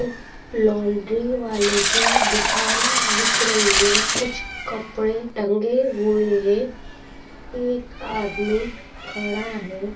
laundry वाले की दुकान दिख रही है कुछ कपड़े टंगे हुए हैं एक आदमी खड़ा है|